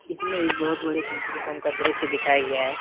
इसमें एक बहुत बड़े पेट्रोल पंप का दृश्य दिखाया गया है।